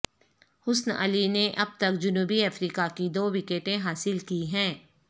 حسن علی نے اب تک جنوبی افریقہ کی دو وکٹیں حاصل کی ہیں